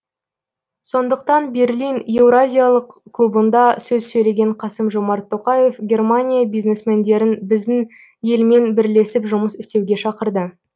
сондықтан берлин еуразиялық клубында сөз сөйлеген қасым жомарт тоқаев германия бизнесмендерін біздің елмен бірлесіп жұмыс істеуге шақырды